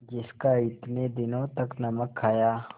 जिसका इतने दिनों तक नमक खाया